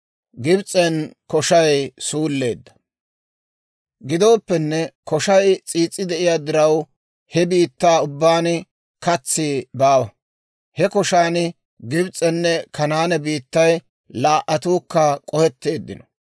Gidooppenne koshay s'iis's'i de'iyaa diraw, he biittaa ubbaan katsi baawa. He koshan Gibs'enne Kanaane biittay laa"attuukka k'ohetteeddino.